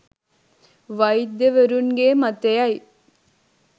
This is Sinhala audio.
වෛද්‍යවරුන්ගේ මතය යි.